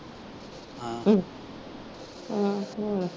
ਹਮ ਹਮ